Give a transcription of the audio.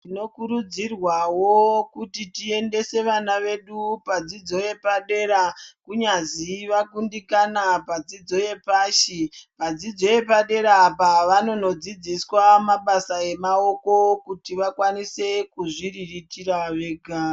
Tino kurudzirwawo kuti tiendese vana vedu padzidzo yepadera, kunyazi vakundikana padzidzo yepashi. Padzidzo yepadera apa vanono dzidziswa mabasa emaoko kuti vakwanise kuzviriritira vega.